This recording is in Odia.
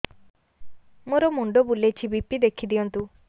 ମୋର ମୁଣ୍ଡ ବୁଲେଛି ବି.ପି ଦେଖି ଦିଅନ୍ତୁ